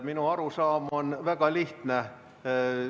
Minu arusaam on väga lihtne.